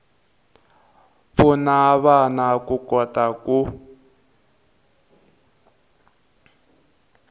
pfuna vana ku kota ku